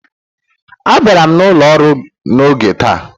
Abịara m ụlọ ọru n'oge taa.